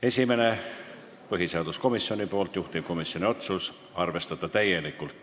Esimene on põhiseaduskomisjonilt, juhtivkomisjoni otsus: arvestada täielikult.